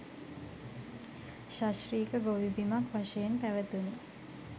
සශ්‍රීක ගොවි බිමක් වශයෙන් පැවතුනි.